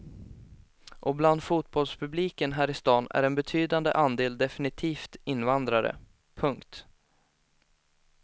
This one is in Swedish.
Och bland fotbollspubliken här i stan är en betydande andel definitivt invandrare. punkt